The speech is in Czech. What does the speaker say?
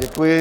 Děkuji.